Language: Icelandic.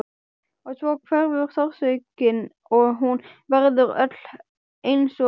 Og svo hverfur sársaukinn og hún verður öll einsog dofin.